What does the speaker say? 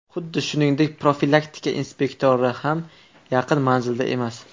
Xuddi shuningdek, profilaktika inspektori ham yaqin manzilda emas.